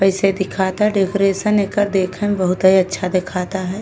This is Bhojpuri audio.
पैसे दिखता डोक्यूरसेन एकर देखे मे बहुतऐ अच्छा दीखता हय।